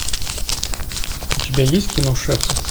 у тебя есть кино шефы